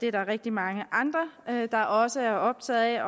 er rigtig mange andre der også er optaget af